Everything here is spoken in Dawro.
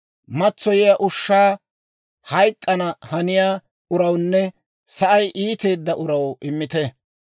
Matsoyiyaa ushshaa hayk'k'ana haniyaa urawunne sa'ay iiteedda uraw immite.